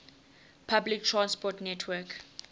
public transport network